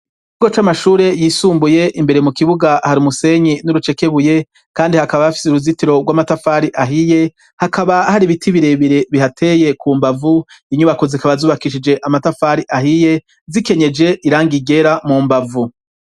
Ikigo c'amashuri yisumbuye, imbere mu kibuga hari umusenyi n'urucekebuye kandi hakaba hafise uruzitiro rw'amatafari ahiye hakaba hari ibiti birebire bihateye ku mbavu inyubako zikaba zubakishije amatafari ahiye zikenyeje irangi ryera mu mbavu.